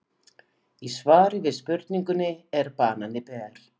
Í svari við spurningunni Er banani ber?